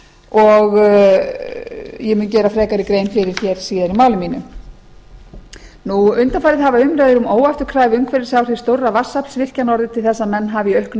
og ég mun gera frekari grein fyrir hér síðar í máli mínu undanfarið hafa umræður um óafturkræf umhverfisáhrif stórra vatnsaflsvirkjana orðið til þess að menn hafa í auknum